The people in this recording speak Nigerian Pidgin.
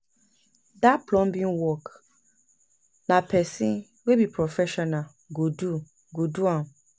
Dat plumbing work, na pesin wey be professional go do am.